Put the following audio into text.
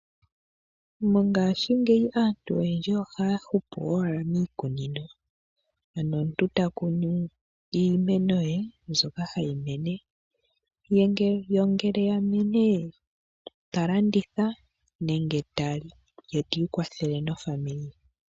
Mongashingeyi aantu oyendji ohaya hupu owaala miikunino. Ano omuntu ta kunu iimeno ye mbyoka hayi mene. Yo ngele ya mene ta landitha nenge ta li, ye tiikwathele nofamili ye.